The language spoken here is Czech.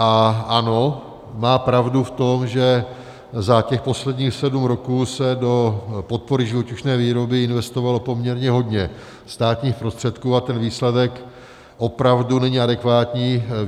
A ano, má pravdu v tom, že za těch posledních sedm roků se do podpory živočišné výroby investovalo poměrně hodně státních prostředků a ten výsledek opravdu není adekvátní.